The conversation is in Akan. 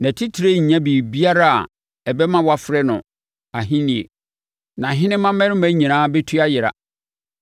Nʼatitire renya biribiara a ɛbɛma wɔafrɛ no ahennie, nʼahenemma mmarima nyinaa bɛtu ayera.